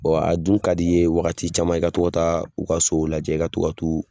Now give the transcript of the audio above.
a dun ka di ye wagati caman, i ka to ka taa, u ka sow lajɛ, u ka to ka t'u